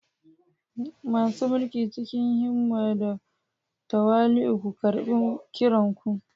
Masu mulki, cikin himma da tawali'u ku karɓi kiran ku.